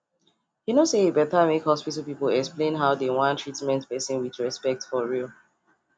you no say e better make hospital people explain how dey wan treatment person with respect for real